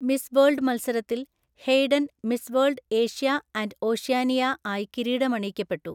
Miss world മത്സരത്തിൽ Hayden miss world Asia and Oceania ആയി കിരീടമണിയിക്കപ്പെട്ടു.